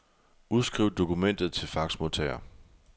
Udskriv dokumentet til faxmodtager.